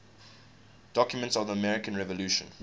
documents of the american revolution